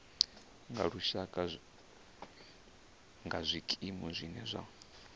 lushaka nga zwikimu zwine zwa